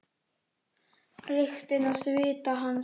Lyktina af svita hans.